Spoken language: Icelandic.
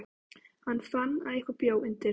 Hann fann að eitthvað bjó undir.